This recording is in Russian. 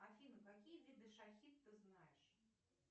афина какие виды шахид ты знаешь